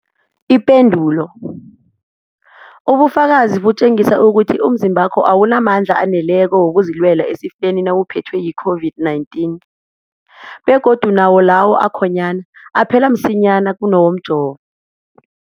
Ipendulo, ubufakazi butjengisa ukuthi umzimbakho awunamandla aneleko wokuzilwela esifeni nawuphethwe yi-COVID-19, begodu nawo lawo akhonyana aphela msinyana kunawomjovo.